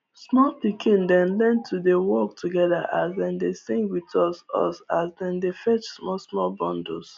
small pikin dem learn to dey work together as dem dey sing with us us as dem dey fetch small small bundles